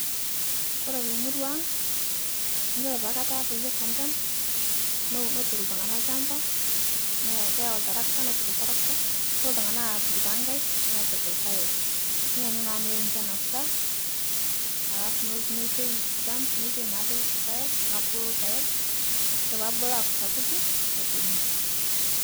Kore te muruang', yuolo paaku etaa peesha nchan, netur ltung'ana lchamba ne keyeau ltrakata netur ltarakta neitoki ltung'ana aatur nepik lpaek niyianyu naa meyeu nchan asha alafu nolotu neitoi lchamba neitoi naaduo lpaeg, nobulu lpaeg, yuolo poobulu aako sapuki nedung'i.